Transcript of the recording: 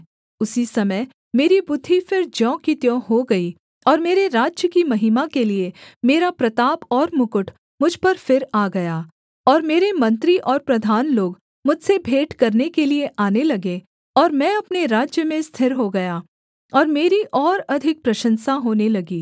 उसी समय मेरी बुद्धि फिर ज्यों की त्यों हो गई और मेरे राज्य की महिमा के लिये मेरा प्रताप और मुकुट मुझ पर फिर आ गया और मेरे मंत्री और प्रधान लोग मुझसे भेंट करने के लिये आने लगे और मैं अपने राज्य में स्थिर हो गया और मेरी और अधिक प्रशंसा होने लगी